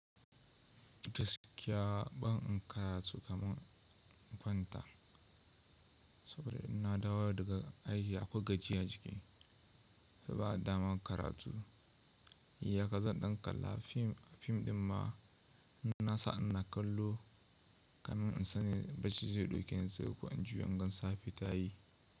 Gaskiya ban karatu kamar in kwanta, saboda ina dawo daga aji a akwai gajiya a jiki, sai ba a damar karatu. Yi haka zan ɗan kalla fim, a fim ɗin ma na sa ina kallo, domin in san bacci zai dauki ni sai yi, ko in juya ingasa fitayi.